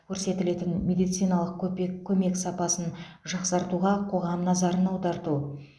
көрсетілетін медициналық көпек көмек сапасын жақсартуға қоғам назарын аударту